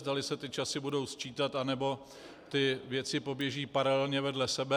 Zda se ty časy budou sčítat, nebo ty věci poběží paralelně vedle sebe.